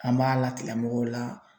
An m'a lakila mɔgɔw la.